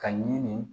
Ka ɲini